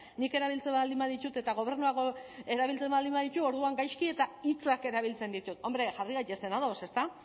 nik erabiltzen baldin baditut eta gobernuak erabiltzen baldin baditu orduan gaizki eta hitzak erabiltzen ditut hombre jarri gaitezen ados ezta